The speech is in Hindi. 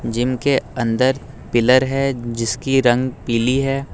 जिम के अंदर पिलर है जिसकी रंग पीली है।